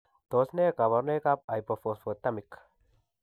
Tos nee kabarunaik ab Hypophosphatemic